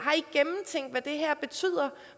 men det her betyder